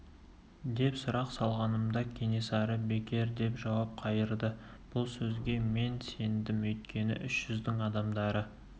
деп сұрақ салғанымда кенесары бекер деп жауап қайырды бұл сөзге мен сендім өйткені үш жүздің адамдары